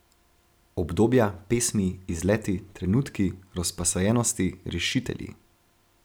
Obdobja, pesmi, izleti, trenutki, razposajenosti, rešitelji.